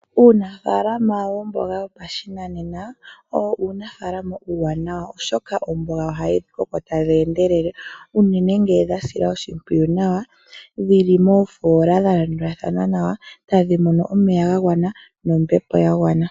Uunafaalama womboga yopashinanena owo uunafaalama uuwanawa oshoka omboga ohayi koko tayi endelele unene ngele dhasilwa oshimpwiyu nawa, dhili moofola dhalandulathana nawa tadhi moni omeya gagwana nombepo yagwana.